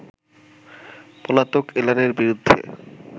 পলাতক এলানের বিরুদ্ধে